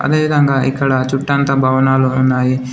అదేవిధంగా ఇక్కడ చుట్టంతా భవనాలు ఉన్నాయి.